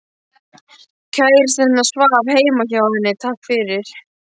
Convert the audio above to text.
Kærastinn hennar svaf heima hjá henni, takk fyrir